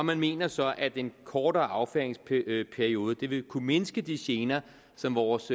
man mener så at en kortere affyringsperiode vil vil kunne mindske de gener som vores